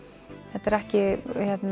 þetta eru ekki